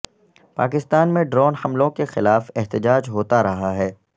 پاکستان میں ڈرون حملوں کے خلاف احتجاج ہوتا رہا ہے